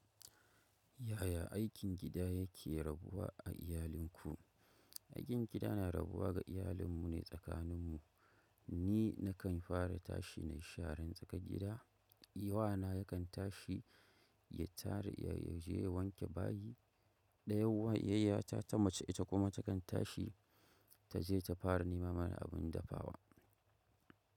Yaya aikin gida yake rabuwa a iyalinku? Aikin gida na rabuwa ga iyalin mune sakanin mu. Ni nakan fara tashi na yi sharan tsakar gida, wana yakan tashi ya tare ya je ya wanke bayi, ɗaya wan yayya ta ta mace ita kuma takan tashi taje ta fara nema mana abun dafawa.